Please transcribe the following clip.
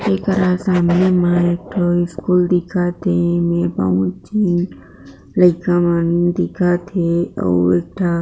एकरा सामने मा एक ठो स्कूल दिख थे ईमे बहुत झन लइका मन दिख थे अउ एक ठा